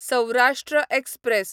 Saurashtra express